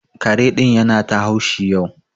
Kare ɗin ya na ta haushi yau.